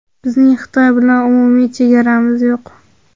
Bizning Xitoy bilan umumiy chegaramiz yo‘q.